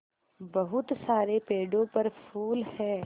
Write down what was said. बहुत सारे पेड़ों पर फूल है